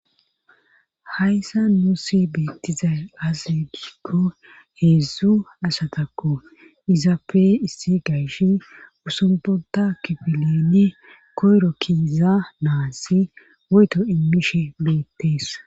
Hayssa nuusi beettizay azegikko heedzdzu asatakko izappe issi gaysh usumbonta kifileni koyro kiiza naasi woyto immishe beettees